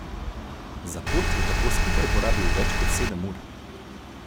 Za pot je tako skupaj porabil več kot sedem ur.